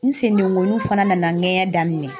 N sen dengɔnniw fana nana n ŋɛɲɛ daminɛ.